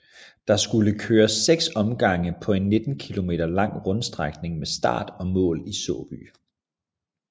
Der skulle køres seks omgange på en 19 km lang rundstrækning med start og mål i Såby